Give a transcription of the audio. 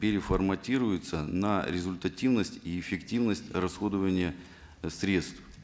переформатируются на результативность и эффективность расходования средств